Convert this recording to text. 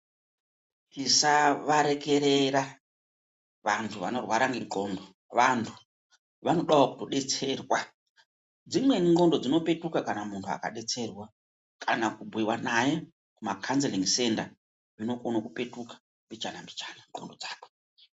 Tisavareerera vantu vanorwara ngendxondo. Vantu vanodawo kutodetserwa. Dzimweni ndxondo dzinopetuka kana muntu akadetserwa, kana kubhuiwa naye makhanzelingi senda, zvinokone kupetuka mbichana mbichana ndxondo dzakwe.